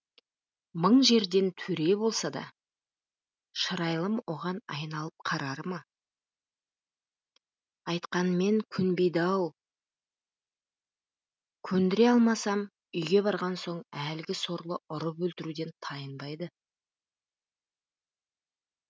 мың жерден төре болса да шырайлым оған айналып қарар ма айтқанмен көнбейді ау көндіре алмасам үйге барған соң әлгі сорлы ұрып өлтіруден тайынбайды